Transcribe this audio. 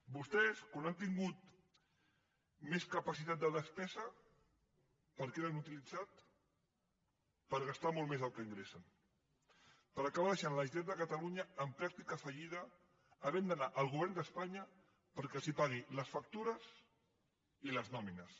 vostès quan han tingut més capacitat de despesa per a què l’han utilitzat per gastar molt més del que in·gressen per acabar deixant la generalitat de catalu·nya en pràctica fallida havent d’anar al govern d’es·panya perquè els pagui les factures i les nòmines